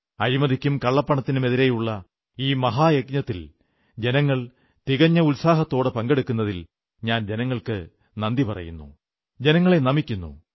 അഴിമതിക്കും കള്ളപ്പണത്തിനുമെതിരെയുള്ള ഈ മഹായജ്ഞത്തിൽ ജനങ്ങൾ തികഞ്ഞ ഉത്സാഹത്തോടെ പങ്കെടുത്തതിൽ ഞാൻ ജനങ്ങൾക്കു നന്ദി പറയുന്നു ജനങ്ങളെ നമിക്കുന്നു